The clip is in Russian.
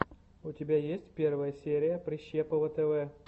у тебя есть первая серия прищепова тв